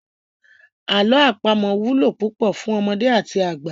Àlọ́ àpamọ wúlò púpọ̀ fún ọmọdé àti àgbà.